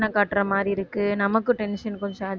காட்டற மாதிரி இருக்கு நமக்கு tension கொஞ்சம்